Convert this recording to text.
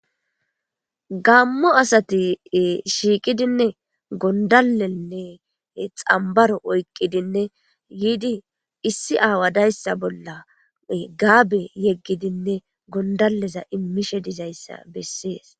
Gammo asati shiiqidinne gondalenne xambaro oyqqidinne yiidi issi aawadayssa bolla gaabe yeggidinne gondaleza immishe dizayssa bessees